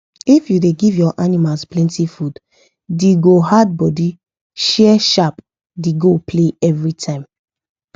if u da give ur animals plenty food the go add body share sharp the go play everytime